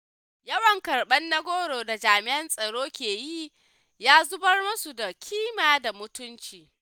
Yawan karɓar na goro da jami'an tsaro ke yi ya zubar musu da ƙima da mutunci.